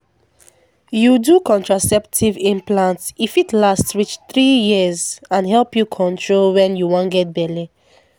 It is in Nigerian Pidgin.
you do contraceptive implant e fit last reach three years and help you control when you wan get belle.